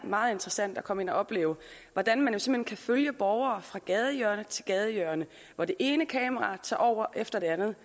meget interessant at komme ind og opleve hvordan man simpelt følge borgere fra gadehjørne til gadehjørne hvor det ene kamera tager over efter det andet